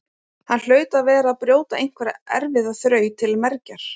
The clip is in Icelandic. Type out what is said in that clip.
Hann hlaut að vera að brjóta einhverja erfiða þraut til mergjar.